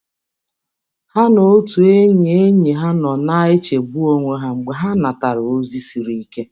Ha na otu enyi enyi ha nọ na-echegbu onwe ha mgbe ha natara ozi siri ike.